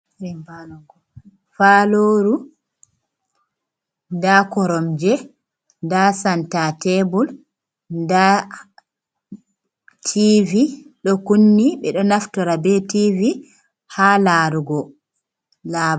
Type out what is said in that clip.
Faloru, nda koromje, nda santa tebur nda tivi ɗo kunni. Ɓe ɗo naftora be tivi haa larugo laba.